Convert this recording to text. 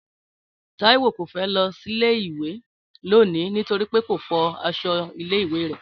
Táíwò kò fẹ́ lọ sílé ìwé lónìí nítorí pé kò fọ aṣọ ilé ìwé rẹ̀